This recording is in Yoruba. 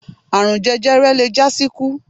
Àrun jẹjẹrẹ le jásíkú.